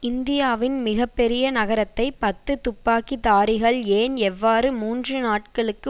இந்தியாவின் மிக பெரிய நகரத்தை பத்து துப்பாக்கி தாரிகள் ஏன் எவ்வாறு மூன்று நாட்களுக்கு